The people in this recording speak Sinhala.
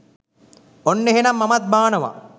ඔන්න එහෙනං මමත් බානවා